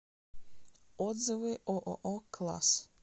отзывы ооо класс